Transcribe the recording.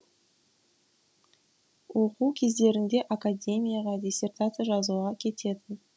оқу кездерінде академияға диссертация жазуға кететін